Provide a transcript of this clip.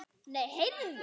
Nei, heyrðu!